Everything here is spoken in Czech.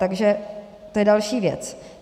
Takže to je další věc.